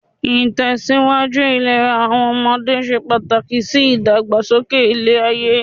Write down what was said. Ìtẹ̀síwájú ìlera àwọn ọmọdé se pàtàkì sí ìdàgbàsókè ilé-ayé.